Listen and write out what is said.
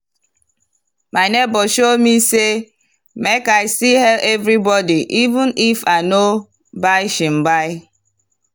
my neighbor show me say make i still hail everybody even if i no buy shingbai.